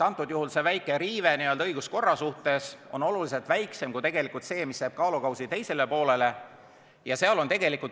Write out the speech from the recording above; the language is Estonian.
Antud juhul see väike riive n-ö õiguskorra suhtes on oluliselt väiksem kui see, mis jääb teisele kaalukausile.